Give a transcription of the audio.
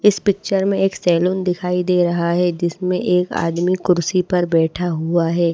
इस पिक्चर में एक सैलून दिखाई दे रहा है जिसमें एक आदमी कुर्सी पर बैठा हुआ है।